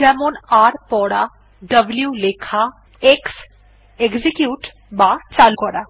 যেমন r পড়া w লেখা x এক্সিকিউট বা চালু করা